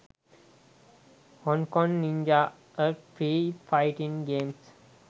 hong kong ninja a free fighting games